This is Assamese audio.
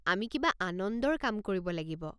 আমি কিবা আনন্দৰ কাম কৰিব লাগিব।